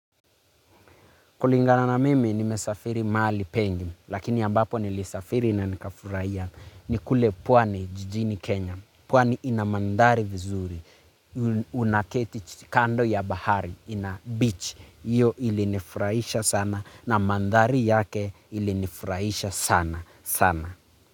Kulingana na mimi nimesafiri mahali pengi, lakini ambapo nilisafiri na nikafurahia ni kule pwani jijini Kenya, pwani inamandhari vizuri, unaketi kando ya bahari, beach, hiyo ilinifuraisha sana na mandhari yake ilinifuraisha sana, sana.